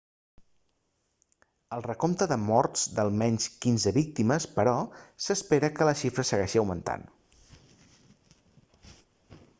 el recompte de morts d'almenys 15 víctimes però s'espera que la xifra segueixi augmentant